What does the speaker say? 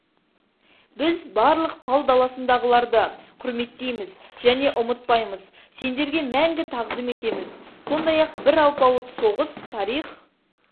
біз барлық пал даласындағыларды құрметтейміз және ұмытпаймыз сендерге мәңгі тағзым етеміз сондай-ақ бір алпауыт соғыс тарих